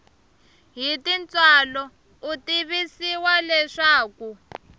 hi tintswalo u tivisiwa leswaku